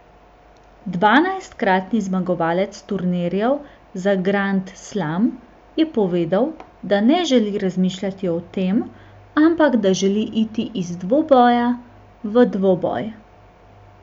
Dvanajstkratni zmagovalec turnirjev za grand slam je povedal, da ne želi razmišljati o tem, ampak da želi iti iz dvoboja v dvoboj.